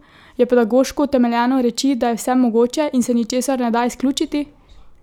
Je pedagoško utemeljeno reči, da je vse mogoče in se ničesar ne da izključiti?